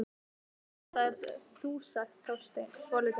Já, þetta ert þú sagði Þorsteinn, svolítið móður.